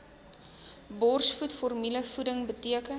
borsvoed formulevoeding beteken